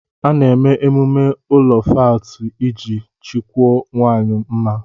A na eme emume ụlọ fáátị iji chọkwụó nwanyi mma